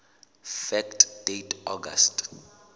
fact date august